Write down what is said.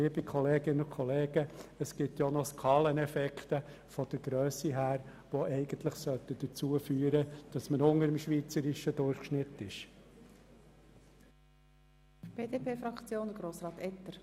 Liebe Kolleginnen und Kollegen, es gibt noch die Skaleneffekte aufgrund der Grösse des Kantons, die eigentlich dazu führen sollten, dass wir unterhalb des schweizerischen Durchschnitts liegen.